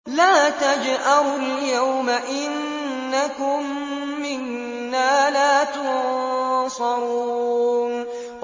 لَا تَجْأَرُوا الْيَوْمَ ۖ إِنَّكُم مِّنَّا لَا تُنصَرُونَ